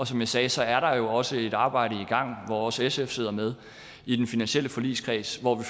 som jeg sagde sagde er der jo også et arbejde i gang hvor også sf sidder med i den finansielle forligskreds hvor vi